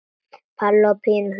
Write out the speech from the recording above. Palli og Pína hlaupa fram.